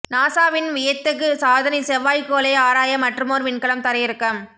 நாசாவின் வியத்தகு சாதனை செவ்வாய்க் கோளை ஆராய மற்றுமோர் விண்கலம் தரையிறக்கம்